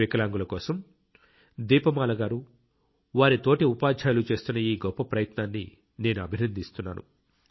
వికలాంగుల కోసం దీప మాల గారు వారి తోటి ఉపాధ్యాయులు చేస్తున్న ఈ గొప్ప ప్రయత్నాన్ని నేను అభినందిస్తున్నాను